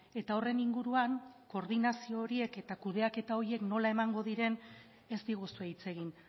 eta horren inguruan koordinazio horiek eta kudeaketa horiek nola emango diren ez diguzue hitz egin